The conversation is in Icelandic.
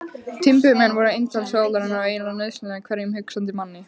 Timburmenn voru eintal sálarinnar og eiginlega nauðsynlegir hverjum hugsandi manni.